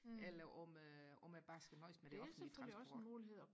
eller om om jeg bare skal nøjes med det offentlige transport